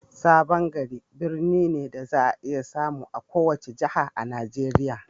Sabon Gari birni ne da za a iya samu a kowace jiha a Nigeriya.